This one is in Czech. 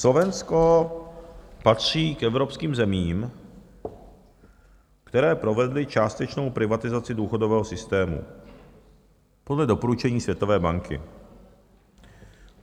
Slovensko patří k evropským zemím, které provedly částečnou privatizaci důchodového systému podle doporučení Světové banky.